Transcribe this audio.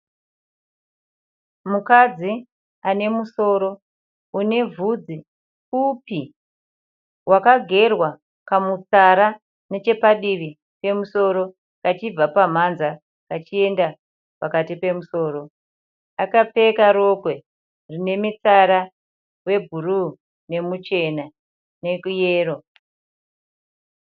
Mukadzi anemusoro unevhudzi pfupi wakagerwa kamutsara nechepadivi pemusoro kachibva pamhanza kachienda pakati pemusoro. Akapfeka rokwe rinemitsara webhuruu nemuchena neyero.